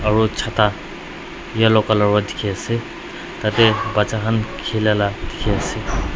aro chata yellow colour vara dike ase tai tey bacha khan kila la ka dike ase.